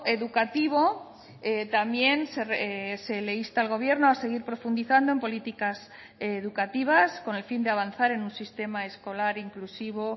educativo también se le insta al gobierno a seguir profundizando en políticas educativas con el fin de avanzar en un sistema escolar inclusivo